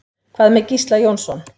Hvað með Gísla Jónsson?